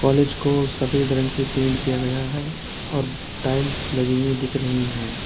College को सफेद रंग से पेंट किया गया है और टाइल्स लगी हुई दिख रही हैं।